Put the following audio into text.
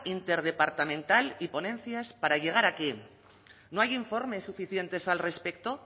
interdepartamental y ponencias para llegar a quién no hay informes suficientes al respecto